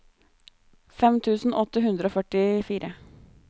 fem tusen åtte hundre og førtifire